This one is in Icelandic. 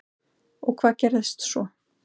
Og hvað gerðist svo?